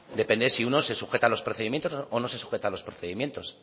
depende si uno se sujeta a los procedimientos o no se sujeta a los procedimientos